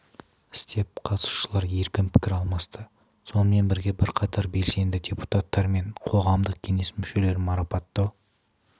істеп қатысушылар еркін пікір алмасты сонымен бірге бірқатар белсенді депутаттар мен қоғамдық кеңес мүшелерін марапаттау